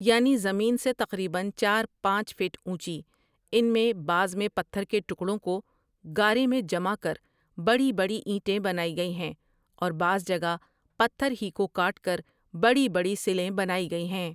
یعنی زمین سے تقریباً چار پانچ فٹ اونچی ان میں بعض میں پتھر کے ٹکڑوں کو گارے میں جما کر بڑی بڑی اینٹیں بنائی گئیں ہیں اور بعض جگہ پتھر ہی کو کاٹ کر بڑی بڑی سلیں بنائی گئی ہیں ۔